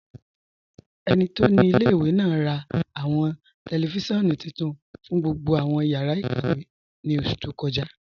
Ẹni tó ni ilẹ̀-ìwé náà rà awọn tẹlifisiọ̀nù tuntun fún gbogbo awọn yàrá ikàwé ní oṣù tó kọ́ja.